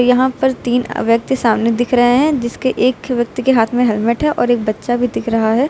यहां पर तीन व्यक्ति सामने दिख रहे हैं जिसके एक व्यक्ति के हाथ में हेलमेट है और एक बच्चा भी दिख रहा है।